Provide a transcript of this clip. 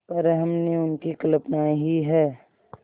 पर हमने उनकी कल्पना ही है